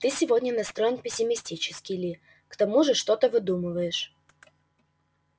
ты сегодня настроен пессимистически ли к тому же что-то выдумываешь